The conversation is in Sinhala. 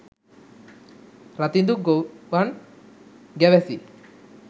රතිඳු ගොව්වන් ගැවැසි